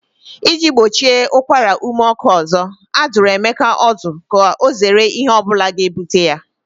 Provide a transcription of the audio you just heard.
Iji gbochie ụkwara ume ọkụ ọzọ, a dụrụ Ebuka ọdụ ka ọ zere ihe ọ bụla ga-ebute ya